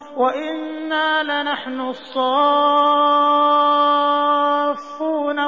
وَإِنَّا لَنَحْنُ الصَّافُّونَ